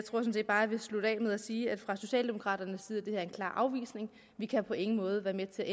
bare jeg vil slutte af med at sige at fra socialdemokraternes side er en klar afvisning vi kan på ingen måde være med til at